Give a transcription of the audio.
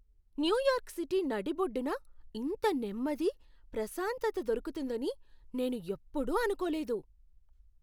New York city నడిబొడ్డున ఇంత నెమ్మది, ప్రశాంతత దొరుకుతుందని నేను ఎప్పుడూ అనుకోలేదు!